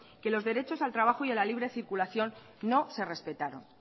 que los derechos al trabajo y a la libre circulación no se respetaron